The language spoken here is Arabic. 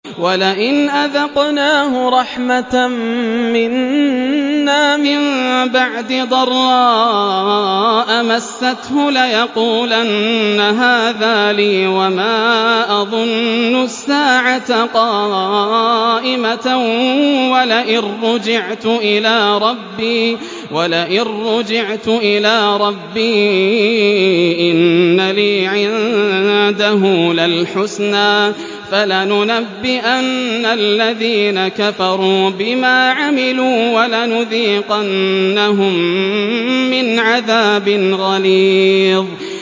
وَلَئِنْ أَذَقْنَاهُ رَحْمَةً مِّنَّا مِن بَعْدِ ضَرَّاءَ مَسَّتْهُ لَيَقُولَنَّ هَٰذَا لِي وَمَا أَظُنُّ السَّاعَةَ قَائِمَةً وَلَئِن رُّجِعْتُ إِلَىٰ رَبِّي إِنَّ لِي عِندَهُ لَلْحُسْنَىٰ ۚ فَلَنُنَبِّئَنَّ الَّذِينَ كَفَرُوا بِمَا عَمِلُوا وَلَنُذِيقَنَّهُم مِّنْ عَذَابٍ غَلِيظٍ